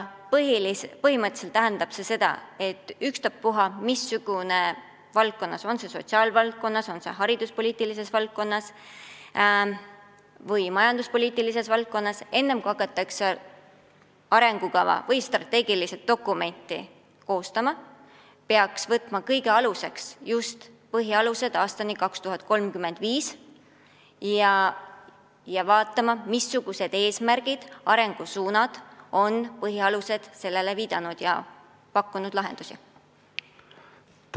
Põhimõtteliselt tähendab see seda, et olgu tegu ükskõik mis valdkonnaga – olgu see sotsiaalpoliitika, hariduspoliitika või majanduspoliitika –, enne kui hakatakse arengukava või strateegiat koostama, peaks võtma kõige aluseks just "Rahvastikupoliitika põhialused aastani 2035" ja vaatama, missugused eesmärgid ja arengusuunad on selles seatud ja milliseid lahendusi pakutud.